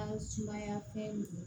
An ka sumaya fɛn